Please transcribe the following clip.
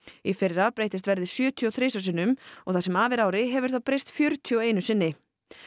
í fyrra breytist verðið sjötíu og þrisvar sinnum og það sem af er ári hefur það breyst fjörutíu og einu sinni